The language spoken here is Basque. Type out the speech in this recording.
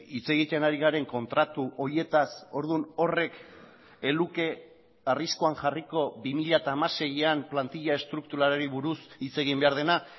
hitz egiten ari garen kontratu horietaz orduan horrek ez luke arriskuan jarriko bi mila hamaseian plantila estrukturalari buruz hitz egin behar dena